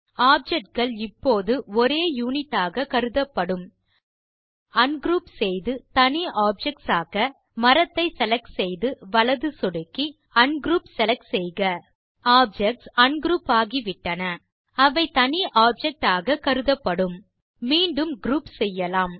object கள் இப்போது ஒரே யுனிட் ஆக கருதப்படும் அன்க்ரூப் செய்து தனி ஆப்ஜெக்ட்ஸ் ஆக்க மரத்தை செலக்ட் செய்து வலது சொடுக்கி அன்க்ரூப் செலக்ட் செய்க ஆப்ஜெக்ட்ஸ் அன்க்ரூப் ஆகிவிட்டன அவை தனி ஆப்ஜெக்ட்ஸ் ஆக் கருதப்படும் மீண்டும் குரூப் செய்யலாம்